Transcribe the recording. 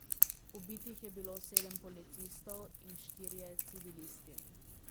Ubitih je bilo sedem policistov in štirje civilisti.